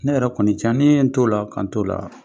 Ne yɛrɛ kɔni can ne ye n t'ola k'an t'ola